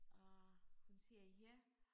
Og hun siger ja